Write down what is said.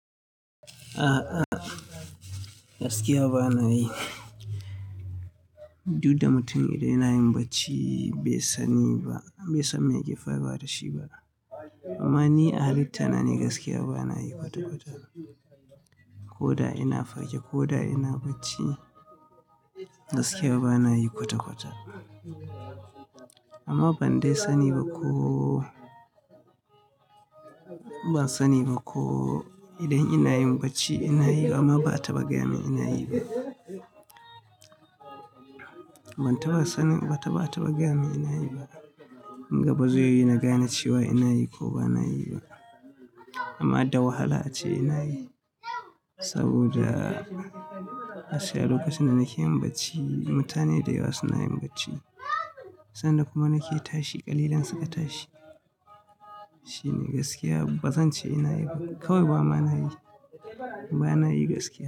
A'a, a'a gaskiya ba na yi. Du da mutum idan yanayij bacci bai sani ba, bai san me ya ke faruwa da shi ba. Amma ni a halitta na ne gaskiya ba na yi kwata-kwata. Ko da ina fage ko da ina bacci gaskiya ba na yi kwata-kwata. Amma ban dai sani ba ko, ban sani ba ko idan ina yin bacci ina yi amma ba'a ta ɓa gayamin ina yi ba. Ban ta ba sanin, ba ta ma ta ɓa gayamin ina yi ba. Kun ga bazai yiwu na gane cewa ina yi ko ba na yi ba. Amma da hala ace ina yi saboda a gaskiya lokacin da nake yin bacci mutane da yawa suna yin bacci. San da kuma nake tashi kalilan suka tashi. Shine gaskiya bazan ce ina yi ba kawai bama na yi, ba na yi gaskiya.